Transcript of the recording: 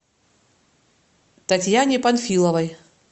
татьяне панфиловой